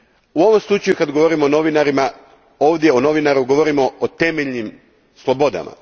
U ovom slučaju kad govorim o novinarima, ovdje o novinaru, govorim o temeljnim slobodama.